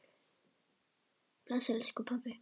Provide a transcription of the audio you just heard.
Bless, elsku pabbi.